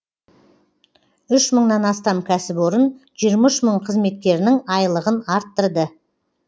үш мыңнан астам кәсіпорын жиырма үш мың қызметкерінің айлығын арттырды